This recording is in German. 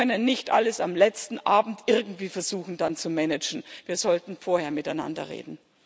Wir können nicht am letzten Abend irgendwie versuchen, dann alles zu managen, wir sollten vorher miteinander reden.